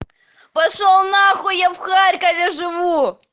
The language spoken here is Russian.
пошёл нахуй я в харькове живу